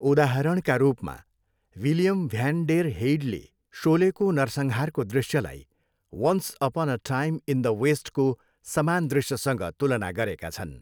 उदाहरणका रूपमा, William van der हेइडले सोलेको नरसंहारको दृश्यलाई once upon a time in the वेस्टको समान दृश्यसँग तुलना गरेका छन्।